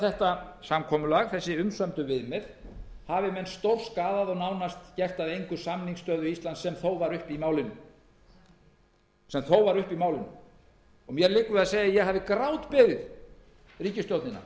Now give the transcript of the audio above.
þetta samkomulag þessi umsömdu viðmið hafi menn stórskaðað og nánast gert að engu samningsstöðu íslands sem þó var uppi í málinu mér liggur við að segja að ég hafi grátbeðið ríkisstjórnina